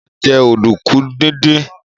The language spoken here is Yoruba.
Mo ma jẹ́ ọ̀dùnkún díndín